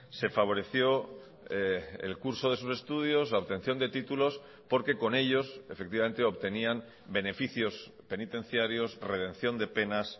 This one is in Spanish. se favoreció el curso de sus estudios la obtención de títulos porque con ellos efectivamente obtenían beneficios penitenciarios redención de penas